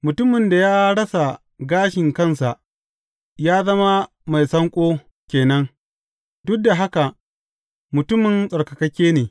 Mutumin da ya rasa gashi kansa ya zama mai sanƙo ke nan, duk da haka mutumin tsattsarka ne.